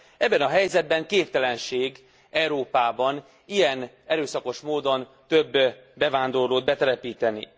Ebben a helyzetben képtelenség Európába ilyen erőszakos módon több bevándorlót betelepíteni.